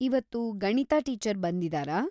ಇವತ್ತು ಗಣಿತ ಟೀಚರ್‌ ಬಂದಿದಾರಾ?